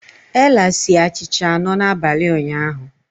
Ella sie achịcha anọ n'abalị ụnyaahụ.